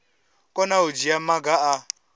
kona u dzhia maga a